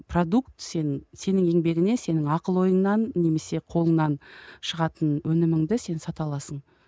продукт сен сенің еңбегіңе сенің ақыл ойыңнан немесе қолыңнан шығатын өніміңді сен сата аласың